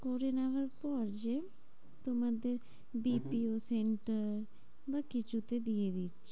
করে নেওয়ার পর যে তোমাদের হম BPO center বা কিছুতে দিয়ে দিচ্ছি।